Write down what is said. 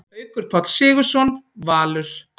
Haukur Páll Sigurðsson, Valur